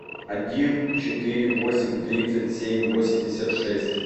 один четыре восемь тридцать семь восемьдесят шесть